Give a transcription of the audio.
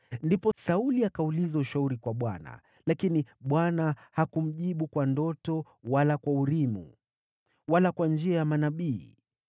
Ndipo Sauli akauliza ushauri kwa Bwana , lakini Bwana hakumjibu kwa ndoto, wala kwa Urimu, wala kwa njia ya manabii.